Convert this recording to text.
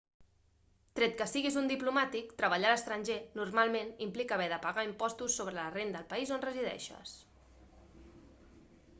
tret que siguis un diplomàtic treballar a l'estranger normalment implica haver de pagar impostos sobre la renda al país on resideixes